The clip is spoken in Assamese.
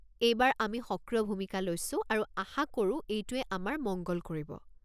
এইবাৰ আমি সক্ৰিয় ভূমিকা লৈছো আৰু আশা কৰো এইটোৱে আমাৰ মঙ্গল কৰিব।